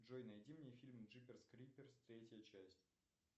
джой найди мне фильм джиперс криперс третья часть